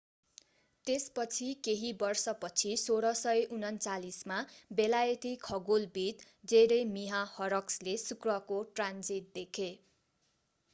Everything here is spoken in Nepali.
त्यसपछि केही वर्षपछि 1639 मा बेलायती खगोलविद jeremiah horrocks ले शुक्रको ट्रान्जिट देखे